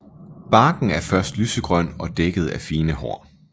Barken er først lysegrøn og dækket af fine hår